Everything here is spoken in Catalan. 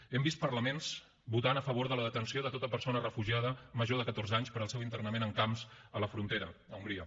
hem vist parlaments votant a favor de la detenció de tota persona refugiada major de catorze anys per al seu internament en camps a la frontera a hongria